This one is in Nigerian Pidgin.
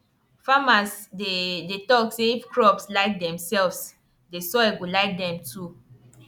farmers dey dey talk say if crops like themselves the soil go like them too